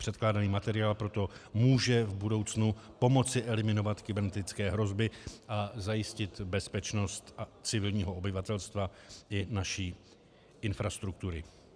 Předkládaný materiál proto může v budoucnu pomoci eliminovat kybernetické hrozby a zajistit bezpečnost civilního obyvatelstva i naší infrastruktury.